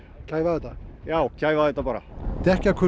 kæfa þetta já kæfa þetta bara